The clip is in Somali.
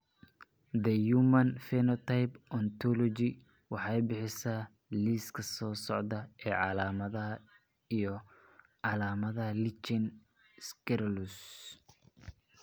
The Human Phenotype Ontology waxay bixisaa liiska soo socda ee calaamadaha iyo calaamadaha Lichen sclerosus.